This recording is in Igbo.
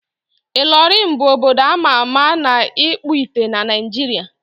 Ịlọrịn bụ obodo a ma ama na ịkpụ ite na Naịjiria.